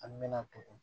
An mɛna togo